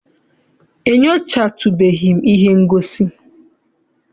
Enyochatubeghi m ihe ngosi.